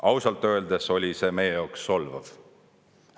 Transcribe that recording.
Ausalt öeldes oli see meie jaoks solvav.